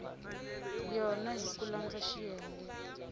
yona hi ku landza xiyenge